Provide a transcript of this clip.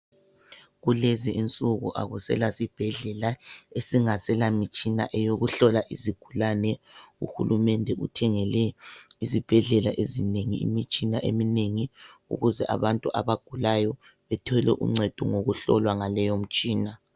Kulezi insuku akusela sibhedlela esingaselamitshina eyokuhlola izigulane. Uhulumende uthengele izibhedlela ezinengi imitshina eminengi ukuze abantu abagulayo bethole uncedo ngokuhlolwa ngaleyo mtshina.